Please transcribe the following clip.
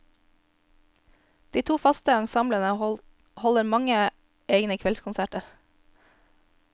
De to faste ensemblene holder mange egne kveldskonserter.